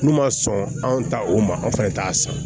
N'u ma sɔn anw ta o ma anw fɛnɛ t'a san